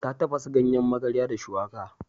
Ta tafasa ganyen magarya da shuwaka.